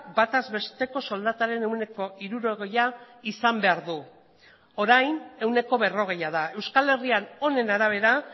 bataz besteko soldataren ehuneko hirurogeia izan behar du orain ehuneko berrogeia da euskal herrian honen arabera